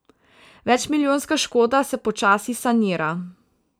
Večmilijonska škoda se počasi sanira.